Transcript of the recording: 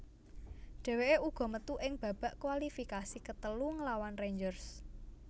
Dheweke uga metu ing babak kualifikasi ketelu nglawan Rangers